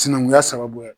Sinankunya sababuya